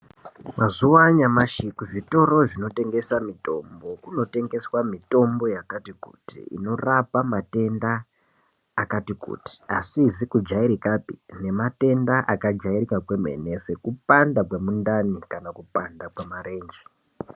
Mazuwa anyamashi kuzvitoro kunotengeswa mutombo kunotengeswa mutombo yakati kuti inorapa matenda akati kuti asizi kujairikapi nematenda akajairika kwemene sekupanda kwemundani kana kupanda kwemarenje .